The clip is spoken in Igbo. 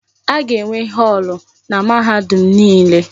A ga-enwe họọlụ na mahadum niile.